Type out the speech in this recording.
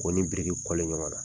K'o ni biriki kɔle ɲɔgɔn na.